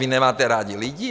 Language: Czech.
Vy nemáte rádi lidi?